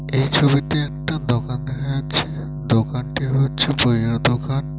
এই ছবিতে একটা দোকান আছেদোকানটি হচ্ছে বইয়ের দোকান ।